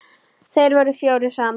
Þeir voru fjórir saman.